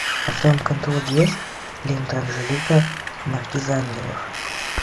а в твоем каталоге есть лента анжелика маркиза ангелов